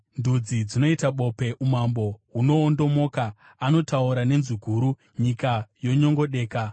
Ndudzi dzinoita bope, umambo hunoondomoka; anotaura nenzwi guru, nyika yonyongodeka.